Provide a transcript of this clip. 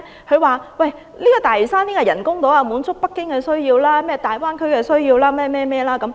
他說東大嶼人工島是為滿足北京和粵港澳大灣區的需要而設。